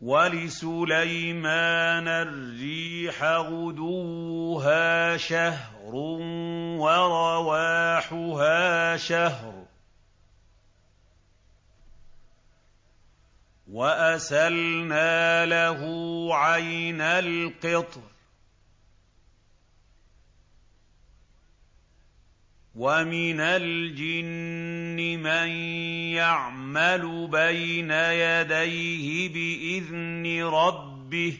وَلِسُلَيْمَانَ الرِّيحَ غُدُوُّهَا شَهْرٌ وَرَوَاحُهَا شَهْرٌ ۖ وَأَسَلْنَا لَهُ عَيْنَ الْقِطْرِ ۖ وَمِنَ الْجِنِّ مَن يَعْمَلُ بَيْنَ يَدَيْهِ بِإِذْنِ رَبِّهِ ۖ